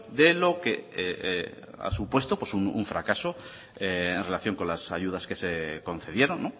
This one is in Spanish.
de lo que ha supuesto un fracaso en relación con las ayudas que se concedieron